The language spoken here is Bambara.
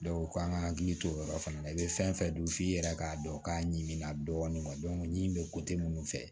k'an ka hakili to o yɔrɔ fana na i bɛ fɛn fɛn dun f'i yɛrɛ k'a dɔn k'a ɲimi na dɔɔnin n'i bɛ minnu fɛ